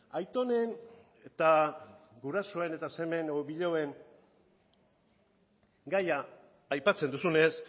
aitonen eta gurasoen eta semeen edo biloben gaia aipatzen duzunez